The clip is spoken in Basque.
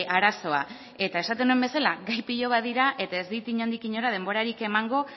arazoa esaten nuen bezala gai pilo bat dira eta ez dit inondik inora denborarik emango